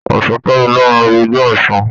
Ọ̀ṣúnkẹ́mi ló máa ru igbá Ọ̀ṣun.